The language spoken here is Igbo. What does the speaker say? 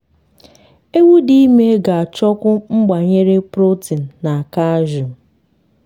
ewu dị ime ga achọkwu mgbanyere protein na calcium